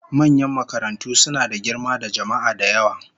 Manyan makarantu suna da girma da jama'a da yawa